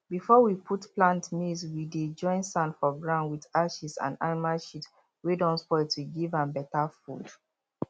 before we put plant maize we dey join sand for ground with ashes and animal shit wey don spoil to give am better food